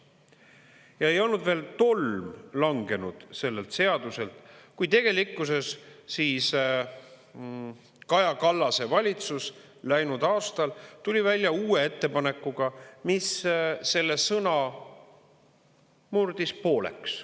Ja ei olnud veel tolm langenud sellelt seaduselt, kuid tegelikkuses Kaja Kallase valitsus läinud aastal tuli välja uue ettepanekuga, mis selle sõna murdis pooleks.